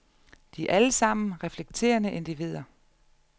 De er alle sammen reflekterende individer.